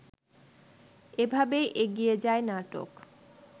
এভাবেই এগিয়ে যায় নাটক